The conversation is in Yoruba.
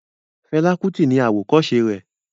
Fela Kuti ni àwòkọ́se rẹ̀